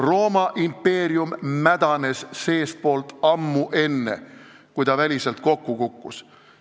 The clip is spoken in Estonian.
Rooma impeerium mädanes seestpoolt ammu enne, kui ta väliselt kokku kukkus.